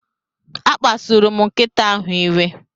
A kpasuru m nkịta ahụ iwe.